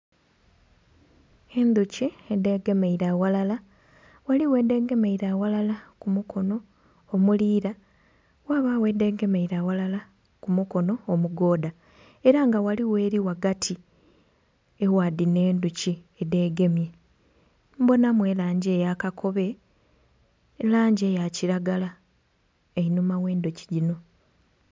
Endhuki edhegemeire aghalala, ghaligho edhegemeire aghalala ku mukono omuliira ghabagho edhegemeire aghalala ku mukono omugoodha. Era nga ghaligho eri ghagati egha dhino endhuki edhegemye. Mbonamu elangi eya kakobe, langi eya kilagala einhuma ghe endhuki dhino.